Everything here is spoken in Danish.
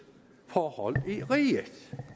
forhold i riget